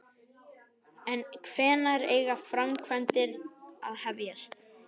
En hvenær eiga framkvæmdir að hefjast?